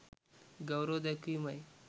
ගෞරව දැක්වීමයි.